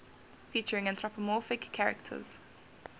featuring anthropomorphic characters